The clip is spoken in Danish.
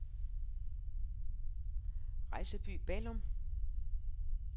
Rejsby-Ballum